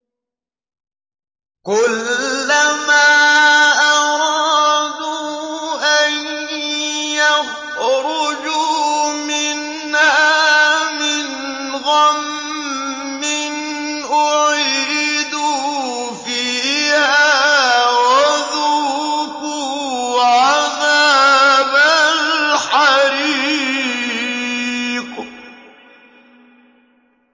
كُلَّمَا أَرَادُوا أَن يَخْرُجُوا مِنْهَا مِنْ غَمٍّ أُعِيدُوا فِيهَا وَذُوقُوا عَذَابَ الْحَرِيقِ